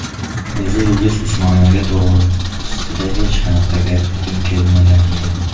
O‘zi Yulduz Usmonova to‘g‘risida hech qayerda gapirgim kelmagan edi.